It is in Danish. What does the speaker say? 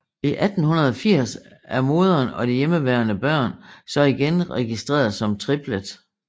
I 1880 er moderen og de hjemmeværende børn så igen registreret som Triplett